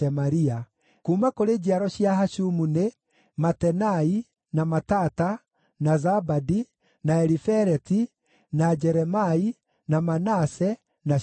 Kuuma kũrĩ njiaro cia Hashumu nĩ: Matenai, na Matata, na Zabadi, na Elifeleti, na Jeremai, na Manase, na Shimei.